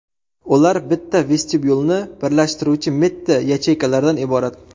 Ular bitta vestibyulni birlashtiruvchi mitti yacheykalardan iborat.